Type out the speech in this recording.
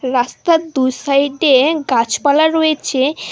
রাস্তার দু সাইডে গাছপালা রয়েছে।